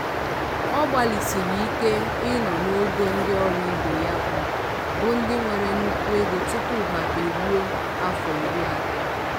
ọ gbalịsiri ike ị nọ n'ogo ndị ọrụ ibe ya bụ bụ ndị nwere nnukwu ego tupu ha eruo afọ iri atọ.